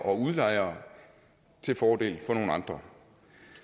og udlejere til fordel for nogle andre